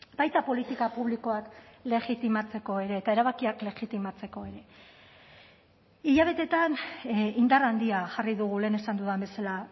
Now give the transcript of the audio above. baita politika publikoak legitimatzeko ere eta erabakiak legitimatzeko ere hilabeteetan indar handia jarri dugu lehen esan dudan bezala